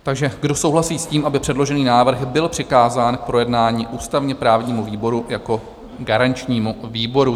Takže kdo souhlasí s tím, aby předložený návrh byl přikázán k projednání ústavně-právnímu výboru jako garančnímu výboru?